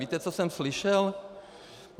Víte, co jsem slyšel?